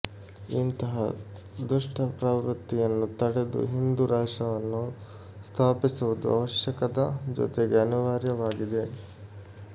ಇಂತಹ ದುಷ್ಟಪ್ರವೃತ್ತಿಯನ್ನು ತಡೆದು ಹಿಂದು ರಾಷ್ಟ್ರವನ್ನು ಸ್ಥಾಪಿಸುವುದು ಅವಶ್ಯಕದ ಜೊತೆಗೆ ಅನಿವಾರ್ಯವಾಗಿದೆ